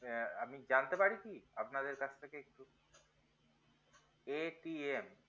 আমি জানতে পারি কি আপনাদের কাছ থেকে একটু